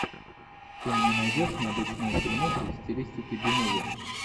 ты мне найдешь необычную фильмуху в стилистике би муви